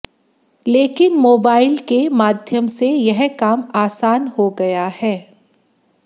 लेकिन मोबाइल के माध्यम से यह काम आसान हो गया है